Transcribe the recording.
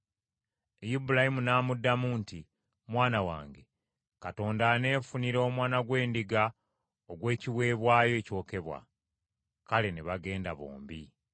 Ibulayimu n’amuddamu nti, “Mwana wange, Katonda aneefunira omwana gw’endiga ogw’ekiweebwayo ekyokebwa.” Kale ne bagenda bombi.